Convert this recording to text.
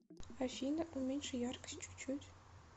афина уменьши яркость чуть чуть